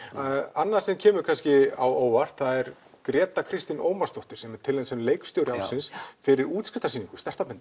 annað sem kemur kannski á óvart það er Gréta Kristín Ómarsdóttir sem er tilnefnd sem leikstjóri ársins fyrir útskrifarsýningu